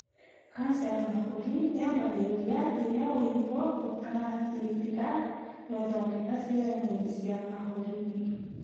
Kanja ya mahũrĩ yambagĩrĩria rĩrĩra ũimbo ũtarigĩtĩkaga wethodeka ciĩga-inĩ cia mahũri-inĩ